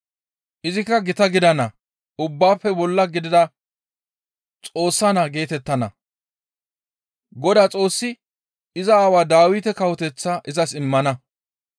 Izikka gita gidana; ubbaafe bolla gidida Xoossa naa geetettana; Godaa Xoossi iza aawaa Dawite kawoteththaa izas immana.